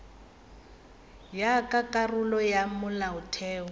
ya ka karolo ya molaotheo